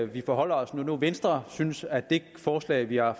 vi forholde os når nu venstre synes at det forslag vi har